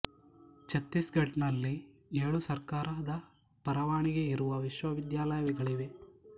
ಛತ್ತೀಸ್ ಘಡ್ ನಲ್ಲಿ ಏಳು ಸರ್ಕಾರದ ಪರವಾನಗಿ ಇರುವ ವಿಶ್ವವಿದ್ಯಾಲಯಗಳಿವೆ